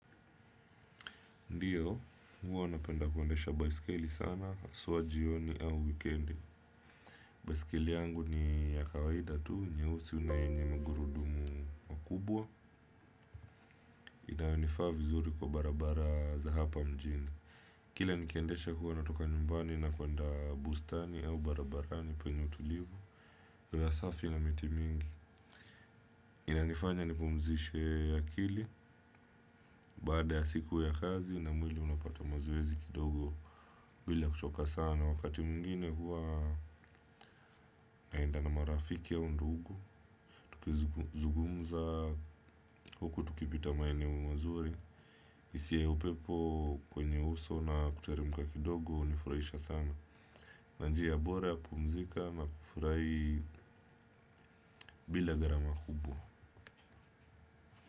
Ndio, huwa napenda kuendesha baiskeli sana, haswa jioni au wikendi. Baiskeli yangu ni ya kawaida tu, nyeusi na yenye magurudumu makubwa, inanifaa vizuri kwa barabara za hapa mjini. Kila nikiendesha kuwa natoka nyumbani, na kuenda bustani au barabarani penye utulivu, hewa safi na miti mingi. Inanifanya nipumzishe akili, baada ya siku ya kazi, na mwili unapata mazoezi kidogo, bila kuchoka sana, wakati mwingine huwa naenda na marafiki au ndugu. Tukizungumuza huku tukipita maeneo mazuri hisia yaupepo kwenye uso na kuteremka kidogo hunifurahisha sana. Na njia bora ya kupumzika ama kufurahi bila gharama kubwa.